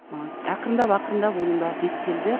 ы ақырындап ақырындап оның бәрі реттелді